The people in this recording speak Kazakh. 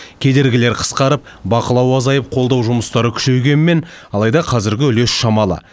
кедергілер қысқарып бақылау азайып қолдау жұмыстары күшейгенмен алайда қазіргі үлес шамалы